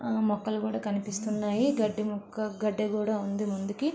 మొక్కలు కూడా కనిపిస్తున్నాయి. గడ్డి మొక్క గడ్డి కూడా ఉంది ముందుకి.